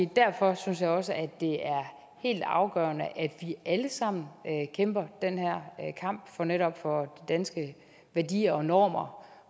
derfor synes jeg også at det er helt afgørende at vi alle sammen kæmper den her kamp netop for danske værdier og normer